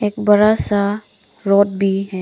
एक बड़ा सा रोड भी है।